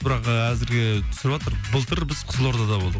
бірақ а әзірге түсіватыр былтыр біз қызылордада болдық